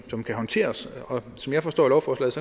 som kan håndteres og som jeg forstår lovforslaget